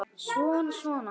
Svona, svona